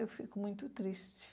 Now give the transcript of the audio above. Eu fico muito triste.